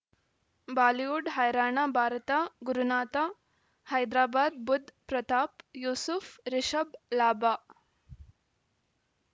Bollywood ಹೈರಾಣ ಭಾರತ ಗುರುನಾಥ ಹೈದರಾಬಾದ್ ಬುಧ್ ಪ್ರತಾಪ್ ಯೂಸುಫ್ ರಿಷಬ್ ಲಾಭ